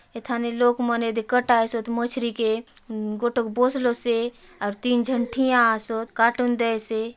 इथाने लोग मने दिख तासे मछरीके से गोटोक और बोसलो से और तीन जन थिया आसो कार्टून दे से ।